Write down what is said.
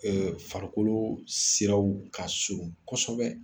Ɛɛ farikolo siraw ka surun kosɛbɛ